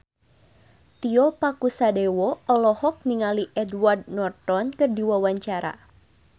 Tio Pakusadewo olohok ningali Edward Norton keur diwawancara